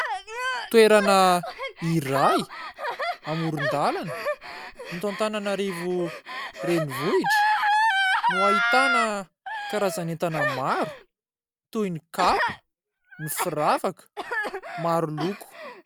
Toerana iray amoron-dàlana eto Antananarivo Renivohitra no ahitana karazan'entana maro toy ny kapa, ny firavaka maro loko.